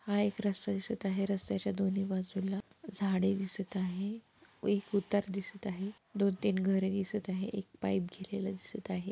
हा एक रस्ता दिसत आहे रस्त्याच्या दोन्ही बाजूला झाडे दिसत आहे एक उतार दिसत आहे दोन-तीन घरे दिसत आहे एक पाइप गेलेला दिसत आहे.